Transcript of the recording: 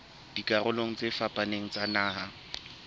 dikarolong tse fapaneng tsa naha